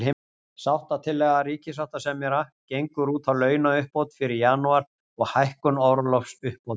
Sáttatillaga ríkissáttasemjara gengur út á launauppbót fyrir janúar, og hækkun orlofsuppbóta.